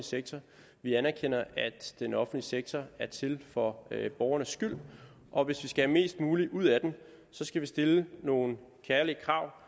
sektor vi anerkender at den offentlige sektor er til for borgernes skyld og hvis vi skal have mest muligt ud af den skal vi stille nogle kærlige krav